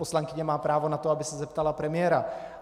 Poslankyně má právo na to, aby se zeptala premiéra.